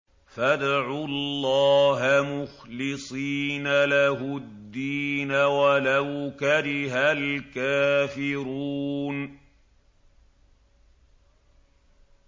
فَادْعُوا اللَّهَ مُخْلِصِينَ لَهُ الدِّينَ وَلَوْ كَرِهَ الْكَافِرُونَ